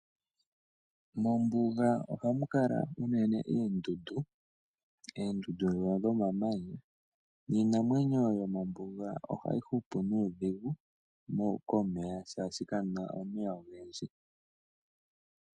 Mombuga ohamu kala unene eendudu, eendudu dhono dho mamanya niinamwenyo yo mombuga ohayi hupu nuudhigu komeya shaashi kamuna omeya ogendji.